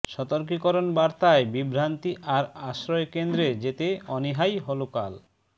সতর্কীকরণ বার্তায় বিভ্রান্তি আর আশ্রয়কেন্দ্রে যেতে অনীহাই হলো কাল